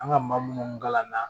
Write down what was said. An ka maa minnu kalan na